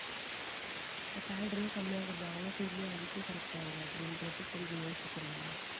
இப்ப salary ஏ கம்மியா குடுத்தாங்கன்னா திருப்பியும் அதுக்கே correct ஆயிரும் அப்படின்றது கொஞ்சம் யோசிக்கிறாங்க